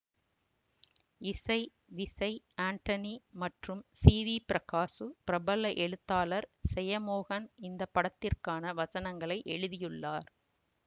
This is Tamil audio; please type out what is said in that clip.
இசை விசய் ஆண்டனி மற்றும் சி வி பிரகாசு பிரபல எழுத்தாளர் செயமோகன் இந்த படத்திற்கான வசனங்களை எழுதியுள்ளார்